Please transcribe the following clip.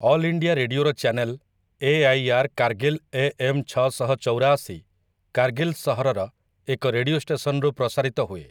All India ରେଡିଓର channel 'AIR. Kargil AM. ଛଅଶହ ଚଉରାଅଶି' କାରଗିଲ ସହରର ଏକ ରେଡିଓ ଷ୍ଟେସନରୁ ପ୍ରସାରିତ ହୁଏ ।